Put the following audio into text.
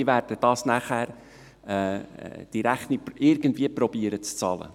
Sie werden irgendwie versuchen, diese Rechnung zu bezahlen.